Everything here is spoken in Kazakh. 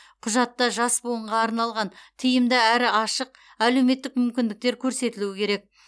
құжатта жас буынға арналған тиімді әрі ашық әлеуметтік мүмкіндіктер көрсетілуі керек